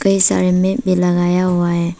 कई मे भी लगाया हुआ है।